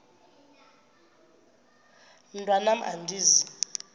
mntwan am andizi